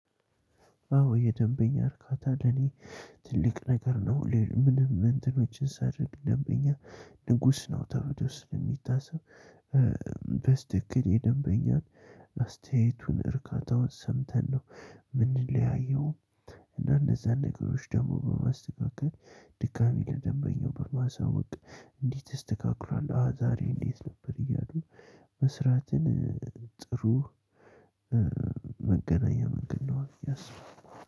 አዎ የደንበኛ እርካታ ለኔ ትልቅ ነገር ነው ምንም እንትኖችን ሳልንቅ ደንበኛ ንጉስ ነው ተብሎ ስለሚታሰብ በትክክል የደንበኛን አስተያየቱን እርካታውን ሰምተን ነው የምንለያየው። እነዛን ነገሮች ደግሞ በማስተካከል ድጋሚ ለደንበኛው በማሳወቅ እንዴት ተስተካክሎን ዛሬ እንዴት ነበር እያሉ? መስራትን ጥሩ መገናኛ መገኛው ብየ አስባለሁ።